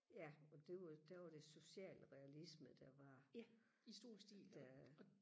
ja og det var der var det socialrealisme der var der